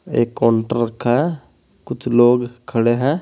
एक काउंटर रखा है। कुछ लोग खड़े हैं।